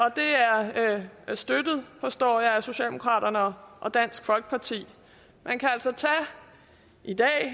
det støttes forstår jeg af socialdemokraterne og og dansk folkeparti man kan altså i dag